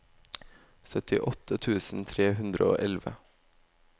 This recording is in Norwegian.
syttiåtte tusen tre hundre og elleve